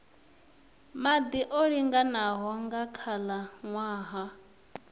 maḓi o linganaho nga khalaṅwaha